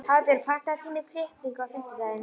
Hafbjörg, pantaðu tíma í klippingu á fimmtudaginn.